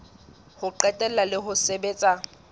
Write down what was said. ho qetela la ho sebetsa